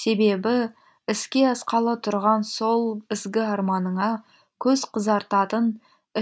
себебі іске асқалы тұрған сол ізгі арманыңа көз қызартатын